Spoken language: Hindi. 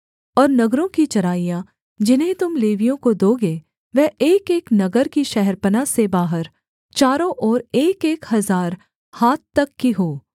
और नगरों की चराइयाँ जिन्हें तुम लेवियों को दोगे वह एकएक नगर की शहरपनाह से बाहर चारों ओर एकएक हजार हाथ तक की हों